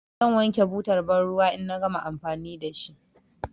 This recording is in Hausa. Zan wanke butar banruwa in na gama amfani da shi.